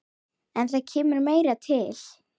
En það kemur meira til.